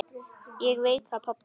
Ég veit það pabbi.